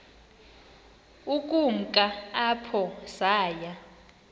ukumka apho saya